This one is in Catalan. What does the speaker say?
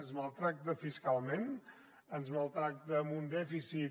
ens maltracta fiscalment ens maltracta amb un dèficit